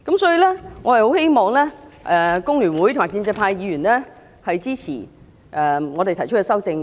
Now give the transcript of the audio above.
所以，我很希望工聯會和建制派的議員支持我們提出的修正案。